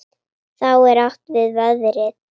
Þá er átt við veðrið.